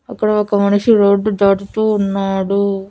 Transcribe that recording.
అక్కడ ఒక మనిషి రోడ్డు దాటుతూ ఉన్నాడు.